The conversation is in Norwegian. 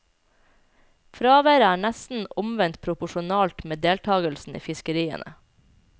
Fraværet er nesten omvendt proporsjonalt med deltagelsen i fiskeriene.